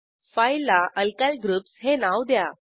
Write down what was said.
फाईलला alkyl groups हे नाव द्या